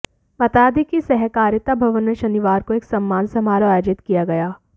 बता दें कि सहकारिता भवन में शनिवार को एक सम्मान समारोह अयोजित किया गया